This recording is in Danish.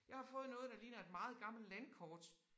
Jeg har fået noget der ligner et meget gammelt landkort